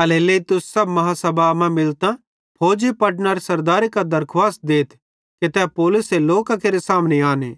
एल्हेरेलेइ तुस सब महा सभा मां मिलतां फौजी पलटनारे सरदारे कां दरखुवास देथ कि तै पौलुसे लोकां केरे सामने आने